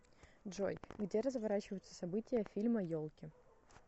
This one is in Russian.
джой где разворачиваются события фильма елки